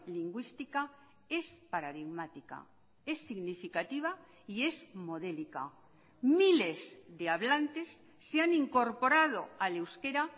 lingüística es paradigmática es significativa y es modélica miles de hablantes se han incorporado al euskera